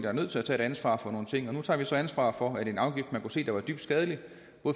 er nødt til at tage et ansvar for nogle ting og nu tager vi så ansvar for at en afgift man kunne se var dybt skadelig